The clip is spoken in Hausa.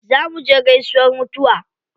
Za muje gaisuwar mutuwa.